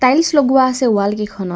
Tiles লগোৱা আছে wall কিখনত।